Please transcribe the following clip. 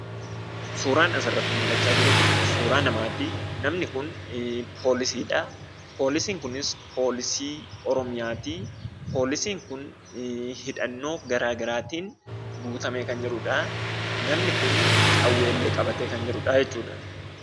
Suuraan asirratti mul'acha jiru kun suuraa namaati. namni kun poolisidha. poolisiin kunis, poolisii oromiyaati. poolisin hidhannoo garaagaraatin guutamee kan jirudha. Namni kun qawwee illee qabatee kan jirudha.